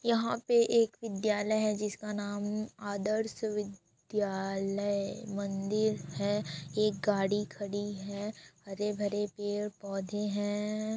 यहाँ पे एक विद्यालय है जिसका नाम आदर्श विद्यालय मंदिर है एक गाड़ी खड़ी है हरे-भरे पेड़-पौधे है।